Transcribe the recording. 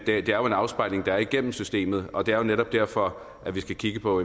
det er jo en afspejling der er igennem systemet og det er jo netop derfor at vi skal kigge på